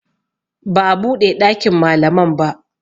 Ba a buɗe ɗakin malaman ba